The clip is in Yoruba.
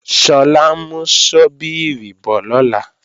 Sọlá ń mú ṣọ́bíìrì bọ̀ lọ́la